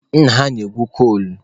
Nna ha na-egwu kol.